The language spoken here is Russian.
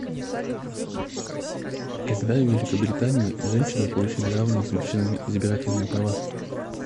когда в великобритании женщины получили равные с мужчинами избирательные права